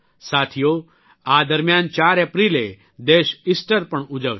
સાથીઓ આ દરમ્યાન 4 એપ્રિલે દેશ ઇસ્ટર પણ ઉજવશે